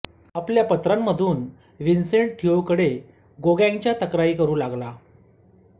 आपल्या पत्रांतून व्हिन्सेंट थिओकडे गोगॅंच्या तक्रारी करू लागला